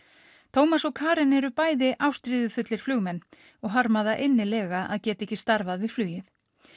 Tómas og Karen eru bæði ástríðufullir flugmenn og harma það innilega að geta ekki starfað við flugið